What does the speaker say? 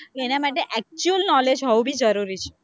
એના માટે actual knowledge હોવું ભી જરૂરી છે,